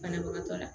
Banabagatɔ la